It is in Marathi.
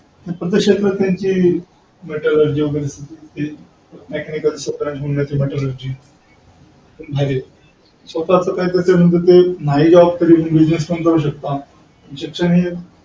प्रति क्षेत्रात त्यांची metallurgy वैगरे mechanical ची branch नाही job तर business पण करू शकता.